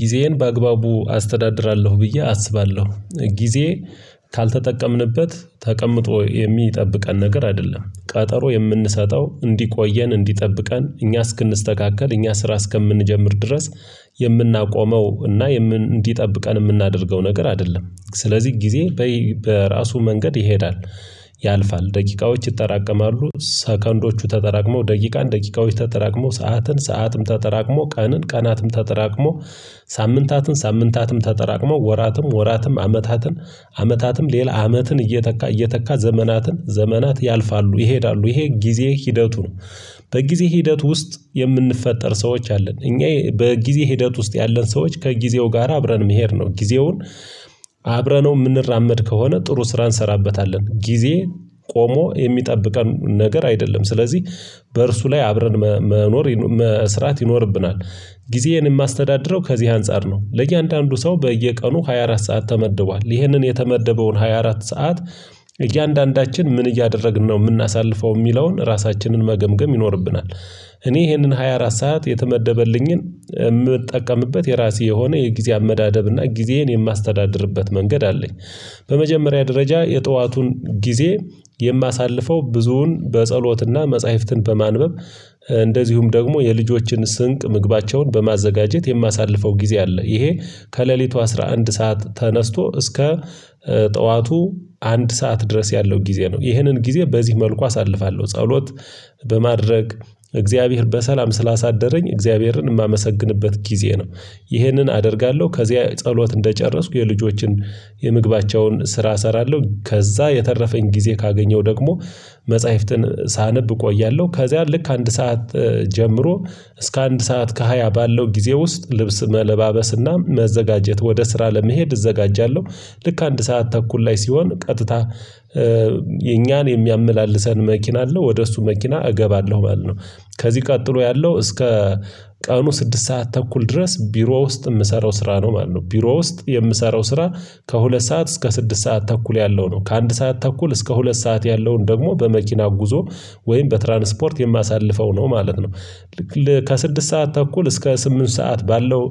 ጊዜዬን በአግባቡ አስተዳድራለሁ ብዬ አስባለሁ። ጊዜ ካልተጠቀምንበት ተቀምጦ የሚጠብቀን ነገር አይደለም ቀጠሮ የምንሰጠው እንዲቆየን እንዲጠብቀን እኛ እስክንስተካከል እኛ ስራ እስከምንጀምር ድረስ የምናቆመው እና እንዲጠብቀን የምናደርገው ነገር አይደለም። ስለዚህ ጊዜ በራሱ መንገድ ይሄዳል። ያልፋል ደቂቃዎች ይጠራቀማሉ ሰከንዶቹ ተጠራቅመው ደቂቃን ደቂቃዎች ተጠራቅመው ሰዓትን ሰዓትም ተጠራቅሞ ቀንን ቀናትም ተጠራቅሞ ሳምንታትን ሳምንታትም ተጠራቅሞ ወራትም ወራትም አመታትን አመታትም ሌላ አመትን እየተካ እየተካ ዘመናትን ዘመናት ያልፋሉ ይሄዳሉ ይሄ ጊዜ ሂደቱ ነው። በጊዜ ሂደት ውስጥ የምንፈጠር ሰዎች አለን እኛ በጊዜ ሂደት ውስጥ ያለን ሰዎች ከጊዜው ጋራ አብረን መሄድ ነው። ጊዜውን አብረነው የምንራመድ ከሆነ ጥሩ ስራ እንሰራበታለን ጊዜ ቆሞ የሚጠብቀን ነገር አይደለም። ስለዚህ በእርሱ ላይ አብረን መኖር መስራት ይኖርብናል። ጊዜዬን የማስተዳድረው ከዚህ አንፃር ነው ለእያንዳንዱ ሰው በየቀኑ ሃያ አራት ሰዓት ተመድቧል ይህንን የተመደበውን ሃያ አራት ሰዓት እያንዳንዳችን ምን እያደረግን ነው የምናሳልፈው የሚለውን ራሳችንን መገምገም ይኖርብናል። እኔ ይሄንን ሃያ አራት ሰዓት የተመደበልኝን ምጠቀምበት የራሴ የሆነ የጊዜ አመዳደብና ጊዜህን የማስተዳድርበት መንገድ አለኝ። በመጀመሪያ ደረጃ የጠዋቱን ጊዜ የማሳልፈው ብዙውን በጸሎትና መጽሐፍትን በማንበብ እንደዚሁም ደግሞ የልጆችን ስንቅ ምግባቸውን በማዘጋጀት የማሳልፈው ጊዜ አለ። ይሄ ከሌሊቱ አስራ አንድ ሰዓት ተነስቶ እስከ ጠዋቱ አንድ ሰዓት ድረስ ያለው ጊዜ ነው። ይህንን ጊዜ በዚህ መልኩ አሳልፋለሁ። ጸሎት በማድረግ እግዚአብሔር በሰላም ስላሳደረኝ እግዚአብሔርን ማመሰግንበት ጊዜ ነው። ይህንን አደርጋለሁ ከዚያ ጸሎት እንደጨረስኩ የልጆችን የምግባቸውን ስራ እሰራለሁ። ከዛ የተረፈኝ ጊዜ ካገኘው ደግሞ መጽሐፍትን ሳነብ እቆያለሁ። ከዚያ ልክ አንድ ሰዓት ጀምሮ እስከ አንድ ሰዓት ከሃያ ባለው ጊዜ ውስጥ ልብስ መለባበስና መዘጋጀት ወደ ስራ ለመሄድ እዘጋጃለሁ። ልክ አንድ ሰዓት ተኩል ላይ ሲሆን ቀጥታ የኛን የሚያመላልሰን መኪና አለ ወደ እሱ መኪና እገባለሁ ማለት ነው። ከዚህ ቀጥሎ ያለው እስከ ቀኑ ስድስት ሰዓት ተኩል ድረስ ቢሮ ውስጥ ምሰራው ስራ ነው ማለት ነው። ቢሮ ውስጥ የምሰራው ስራ ከሁለት ሰዓት እስከ ስድስት ሰዓት ተኩል ያለው ነው። ከአንድ ሰዓት ተኩል እስከ ሁለት ሰዓት ያለውን ደግሞ በመኪና ጉዞ ወይም በትራንስፖርት የማሳልፈው ነው ማለት ነው። ከስድስት ሰዓት ተኩል እስከ ስምንት ሰዓት ባለው